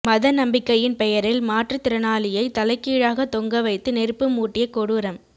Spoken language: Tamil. மத நம்பிக்கையின் பெயரில் மாற்றுத்திறனாளியை தலைகீழாக தொங்க வைத்து நெருப்பு மூட்டிய கொடூரம்